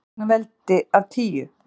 En hvers vegna veldi af tíu?